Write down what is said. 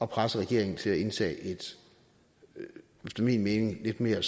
presse regeringen til at indtage en efter min mening lidt mere